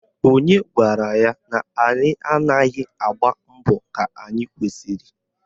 Onye gwara ya na anyị anaghị agbọ mbọ ka anyị kwesịrị?